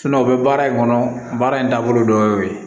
o bɛ baara in kɔnɔ baara in taabolo dɔ y'o ye